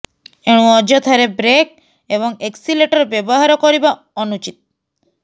ଏଣୁ ଅଯଥାରେ ବ୍ରେକ୍ ଏବଂ ଏକ୍ସିଲେଟର ବ୍ୟବହାର କରିବା ଅନୁଉଚିତ